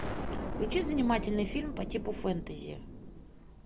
включи занимательный фильм по типу фэнтези